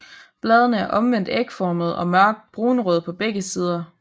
Bladene er omvendt ægformede og mørkt brunrøde på begge sider